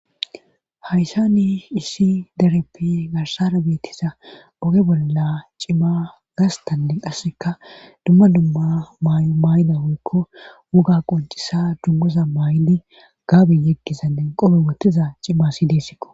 hayssa ni issi dereppi garsara beettisa oge bolla cima gastanne qasseka dumma dumma maay7o maay7ida woykko woga quncisa dummoza maay7idi gaaben yekkisa nen qope wottiza cimashideessikko